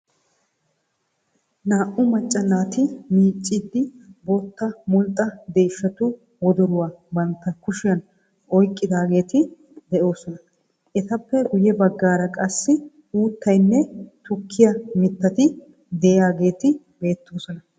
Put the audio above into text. Naa"u macca naati miicciiddi bootta mulxxa deeshshatu wodoruwa bantta kushiyan oyqqidaageeti de'oosona. Etappe guyye baggaara qassi uuttaynne tukkiya mittati de"iyaageeti beettoosona.